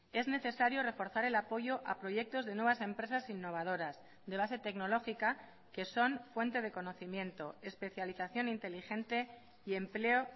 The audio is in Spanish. es necesario reforzar el apoyo a proyectos de nuevas empresas innovadoras de base tecnológica que son fuente de conocimiento especialización inteligente y empleo